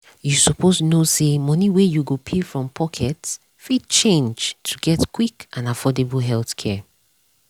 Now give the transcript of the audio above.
you suppose know say money wey you go pay from pocket fit change to get quick and affordable healthcare.